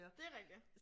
Det rigtigt